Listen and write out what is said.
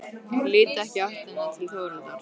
Lít ekki í áttina til Þórhildar.